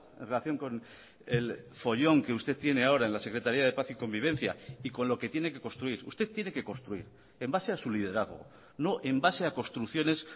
en relación con el follón que usted tiene ahora en la secretaría de paz y convivencia y con lo que tiene que construir usted tiene que construir en base a su liderazgo no en base a construcciones